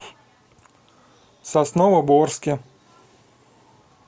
сосновоборске